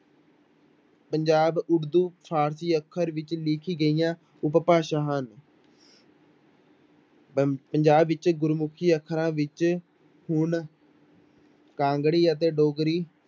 Punjab Urdu Farsi ਅੱਖਰ ਵਿੱਚ ਲਿਖੀ ਗਈਆਂ ਉਪਭਾਸ਼ਾ ਹਨ ਪ ਪੰਜਾਬ ਵਿੱਚ ਗੁਰਮੁਖੀ ਅੱਖਰਾਂ ਵਿੱਚ ਹੁਣ ਕਾਂਗੜੀ ਅਤੇ ਡੋਗਰੀ